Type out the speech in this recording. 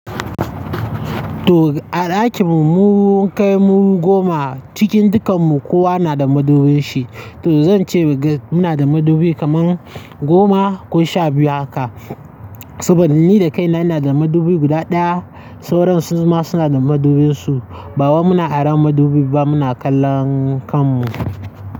To a ɗakin mu mun kai mu goma, cikin dukan mu kowa na da madubin shi, to zan ce muna da madubi kaman goma ko sha biyu haka. Saboda ni da kaina na da madubi guda ɗaya, sauran su ma suna da madubin su, ba muna aron madubi ba muna kallon kan mu.